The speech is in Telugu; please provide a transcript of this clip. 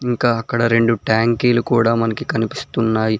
ఇంకా అక్కడ రెండు ట్యాంకీలు కూడా మనకి కనిపిస్తున్నాయ్.